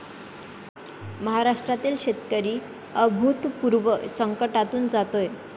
महाराष्ट्रातील शेतकरी अभूतपूर्व संकटातून जातोय.